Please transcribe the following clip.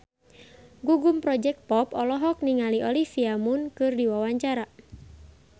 Gugum Project Pop olohok ningali Olivia Munn keur diwawancara